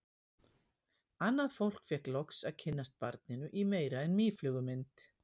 Annað fólk fékk loksins að kynnast barninu í meira en mýflugumynd.